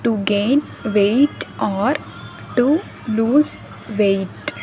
to gain weight or to lose weight.